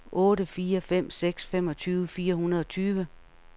otte fire fem seks femogtyve fire hundrede og tyve